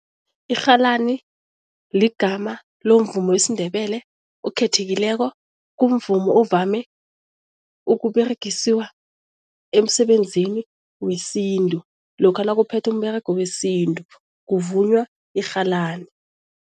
Irhalani ligama lomvumo wesiNdebele okhethekileko. Kumvumo ovame ukUberegisiwa emsebenzini wesintu lokha nakuphethwa umberego wesintu kuvunywa irhalani.